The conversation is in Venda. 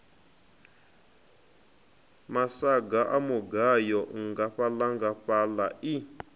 masaga a mugayo nngafhaḽangafhaḽa i